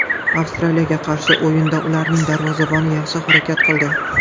Avstraliyaga qarshi o‘yinda ularning darvozaboni yaxshi harakat qildi.